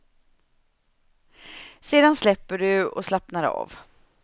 Sedan släpper du och slappnar av.